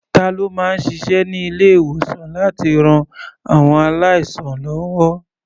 Ta ló máa ń ṣiṣẹ́ ní ilé-ìwòsàn láti ran àwọn aláìsàn lọ́wọ́?